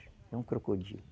É um crocodilo.